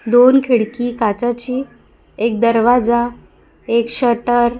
दोन खिडकी काचाची एक दरवाजा एक शटर --